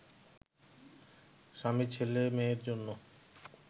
স্বামী ছেলেমেয়ের জন্য